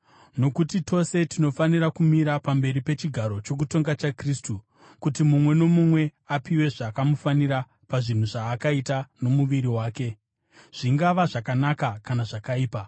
Nokuti tose tinofanira kumira pamberi pechigaro chokutonga chaKristu, kuti mumwe nomumwe apiwe zvakamufanira pazvinhu zvaakaita nomuviri wake, zvingava zvakanaka kana zvakaipa.